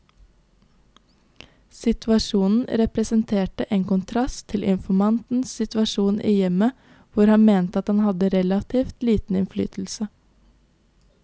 Situasjonen representerte en kontrast til informantens situasjon i hjemmet, hvor han mente at han hadde relativt liten innflytelse.